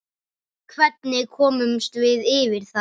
Hvernig komumst við yfir það?